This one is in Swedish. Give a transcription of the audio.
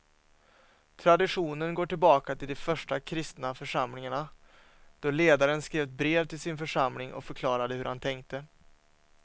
Traditionen går tillbaka till de första kristna församlingarna då ledaren skrev ett brev till sin församling och förklarade hur han tänkte.